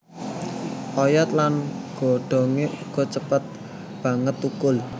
Oyot lan godhongé uga cepet banget thukul